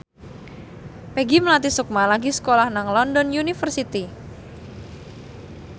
Peggy Melati Sukma lagi sekolah nang London University